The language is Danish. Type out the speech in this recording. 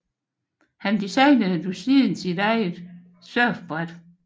Han designede desuden sit eget surfbræt